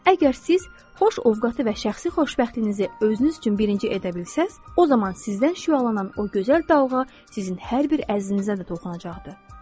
Əgər siz xoş ovqatı və şəxsi xoşbəxtliyinizi özünüz üçün birinci edə bilsəniz, o zaman sizdən şüalanan o gözəl dalğa sizin hər bir əzizinizə də toxunacaqdır.